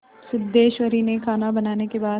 सिद्धेश्वरी ने खाना बनाने के बाद